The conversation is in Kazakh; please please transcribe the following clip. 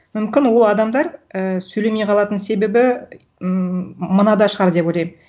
мүмкін ол адамдар і сөйлемей қалатын себебі ммм мынада шығар деп ойлаймын